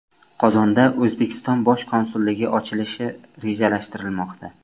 Qozonda O‘zbekiston bosh konsulligi ochilishi rejalashtirilmoqda.